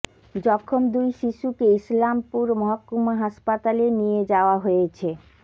জখম দুই শিশুকে ইসলামপুর মহকুমা হাসপাতালে নিয়ে যাওয়া হয়েছে